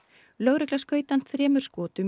lögregla skaut hann þremur skotum í